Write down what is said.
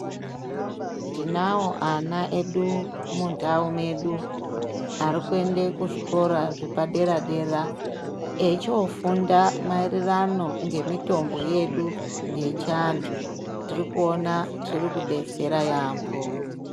Tinawo ana edu mundau medu ari kuende kuzvikora zvepadera dera echiofunda maererano ngemitombo yedu yechiantu tiri kuona zviri kudetsera yaambo.